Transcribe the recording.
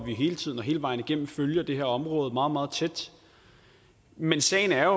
vi hele tiden og hele vejen igennem følger det her område meget meget tæt men sagen er